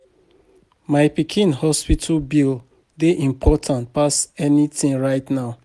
My pikin hospital bill dey important pass anything right now